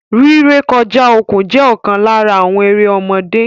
Rí rẹ̀kọ̀ja okun jẹ̀ okan lárà àwọn èrè ọ̀mọdé.